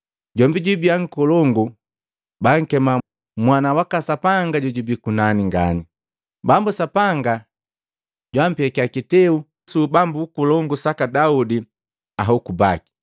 Jombi jwiba nkolongu, bankema Mwana waka Sapanga jojubii kunani ngani. Bambu Sapanga jwampekia kiteu su ubambu nkolongu saka Daudi ahoku baki.